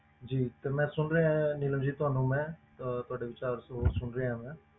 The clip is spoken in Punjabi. ਜੀ ਤੇ ਮੈਂ ਸੁਣ ਰਿਹਾਂ ਨੀਲਮ ਜੀ ਤੁਹਾਨੂੰ ਮੈਂ ਅਹ ਤੁਹਾਡੇ ਵਿਚਾਰ ਸੁ~ ਸੁਣ ਰਿਹਾਂ ਮੈਂ।